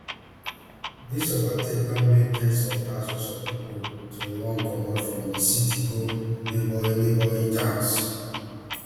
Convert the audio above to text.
dis overtake don make ten s of thousands of pipo to run comot from di city go neighbouring neighbouring towns